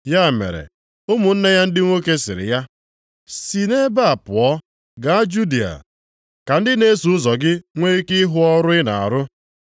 ya mere, ụmụnne ya ndị nwoke sịrị ya, “Si nʼebe a pụọ, gaa Judịa, ka ndị na-eso ụzọ gị nwe ike ịhụ ọrụ ị na-arụ.